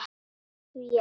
Ég trúi því ekki,